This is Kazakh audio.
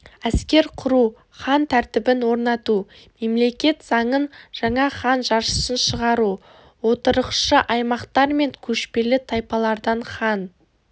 әскер құру хан тәртібін орнату мемлекет заңын жаңа хан жарғысыншығару отырықшы аймақтар мен көшпелі тайпалардан хан